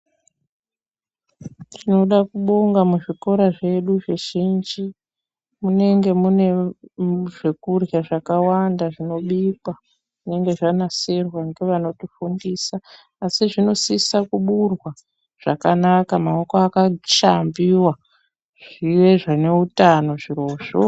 Tinoda kubonga muzvikora zvedu zvizhinji munenge mune zvekurya zvakawanda zvinobikwa zvinenge zvanasirwa ngevanotifundisa asi zvinosise kuburwa zvakanaka maoko akashambiwa zviwe zvine utano zvirozvo.